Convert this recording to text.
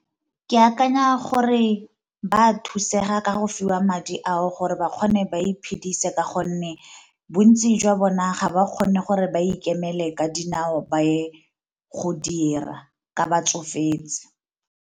Ke akanya gore ba thusega ka go fiwa madi ao gore ba kgone ba iphedise, ka gonne bontsi jwa bona ga ba kgone gore ba ikemele ka dinao ba ye go dira ka ba tsofetse.